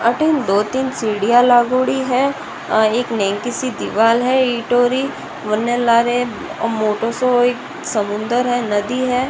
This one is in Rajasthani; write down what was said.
आटे दो तीन सीडिया लागोड़ी है एक नेक सी दिवार है ईटो की वेन लारे मोटो सो समुन्दर है नदी है।